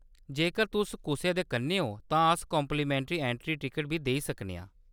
जेकर तुस कुसै दे कन्नै ओ तां अस काम्प्लिमेंट्री ऐंट्री टिकट बी देई सकने आं।